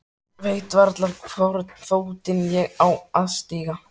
Veit varla í hvorn fótinn ég á að stíga.